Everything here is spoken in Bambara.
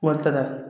Wari t'a la